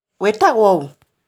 Wĩtagwo ũ?